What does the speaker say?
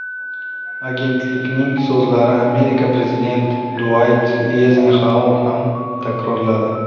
Agentlikning so‘zlarini Amerika prezidenti Duayt Eyzenxauer ham takrorladi.